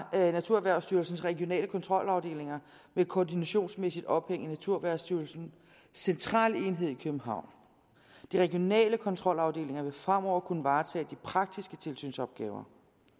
naturerhvervsstyrelsens regionale kontrolafdelinger koordinationsmæssigt ophævet naturerhvervsstyrelsens centralenhed i københavn de regionale kontrolafdelinger vil fremover kunne varetage de praktiske tilsynsopgaver